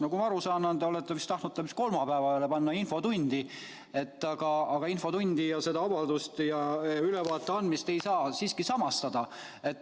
" Nagu ma aru saan, te olete vist tahtnud selle aja panna kolmapäevale, infotundi, aga infotundi ja seda avaldust ja ülevaate andmist ei saa siiski samastada.